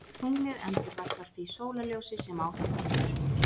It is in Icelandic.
Tunglið endurvarpar því sólarljósi sem á það fellur.